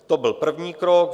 To byl první krok.